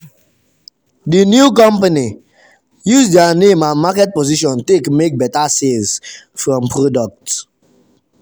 the new company use their name and market position take make better sales from product.